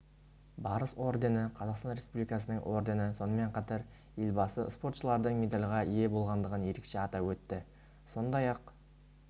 барыс ордені қазақстан республикасының ордені сонымен қатар елбасы спортшылардың медальге ие болғандығын ерекше атап өтті сондай-ақ